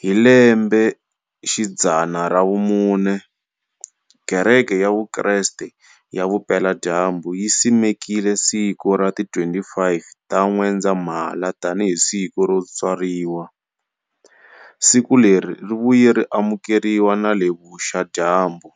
hi lembexidzana ra vumune, Kereke ya vukreste ya vupela-dyambu yi simekile siku ra ti 25 ta N'wendzamhala tani hi siku ro tswariwa, siku leri rivuye ri amukeriwa nale vuxa-dyambu.